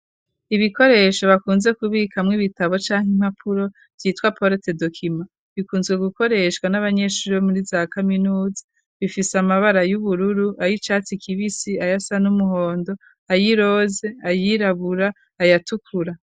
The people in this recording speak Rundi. Ibikoresho bakunze kubikamwo ibitabo canke impapuro, vyitwa porote dokima, bikunzwe gukoreshwa n'abanyeshuri bo muri za Kaminuza, bifise amabara y'ubururu, ay'icatsi kibisi, ayasa n'umuhondo, ayiroze, ayirabura, ayatukura.